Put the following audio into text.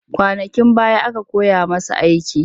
Kwanakin baya aka koya masa aiki